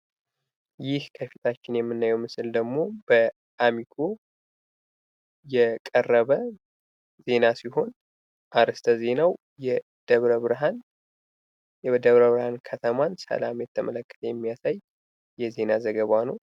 ይህ ከፊታችን የምናየው በአሚኮ የቀረበ ዜና ሲሆን ፤ ዘገባውም የደብረ ብርሃን ከተማ ሰላምን የተመለከተ የሚያሳይ ዘገባ ነው።